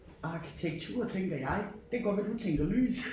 Arkitektur tænker jeg det kan godt være du tænker lys